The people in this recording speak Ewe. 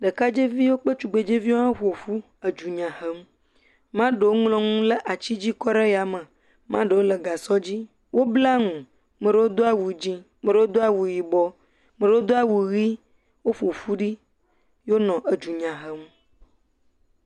Ɖekadzeviwo kple ɖetugbuiviwo ƒoƒu edunya hem, maɖewo ŋlɔ nu ɖe ati dzi kɔ ɖe yame, maɖewo le gasɔ dzi, wobla nu, ame aɖewo do awu yibɔ, maɖewo do awu ʋi maɖewo do awu dzɛ̃woƒoƒu ɖi eye wonɔ dfunya hem.